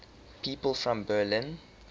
people from berlin